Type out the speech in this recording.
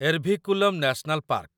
Eravikulam national park